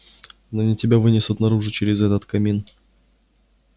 но не тебя вынесут наружу через этот камин